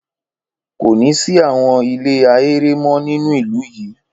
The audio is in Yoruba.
Kò ní sí àwọn ilé ahéré mọ́ nínú ìlú yìí.